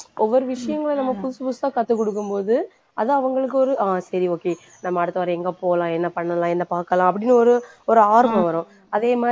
ஒவ்வொரு விஷயங்களும் நம்ம புதுசு புதுசா கத்துக்கொடுக்கும் போது அது அவங்களுக்கு ஒரு ஆஹ் சரி okay நாம அடுத்தவாரம் எங்க போலாம் என்ன பண்ணலாம் என்ன பாக்கலாம் அப்படின்னு ஒரு ஒரு ஆர்வம் வரும் அதே மாதிரி